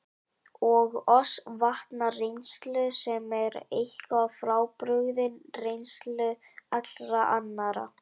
Ef skotmarkið er á hreyfingu í átt til ratsjárinnar eykst tíðnin með sama hætti.